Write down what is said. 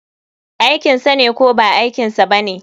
Aikinsane ko ba aikinsa bane?